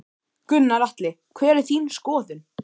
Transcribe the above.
Gunnar Atli: Hver er þín skoðun?